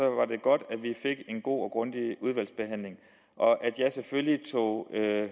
var det godt at vi fik en god og grundig udvalgsbehandling og at jeg selvfølgelig tog